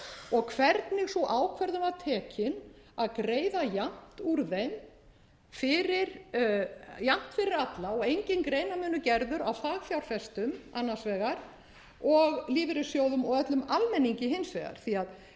og hvernig sú ákvörðun var tekin að greiða jafnt úr þeim jafnt fyrir alla og enginn greinarmunur gerður á fagfjárfestum annars vegar og lífeyrissjóðum og öllum almenningi hins vegar því að